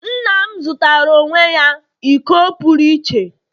nna m zụtara onwe ya iko pụrụ iche.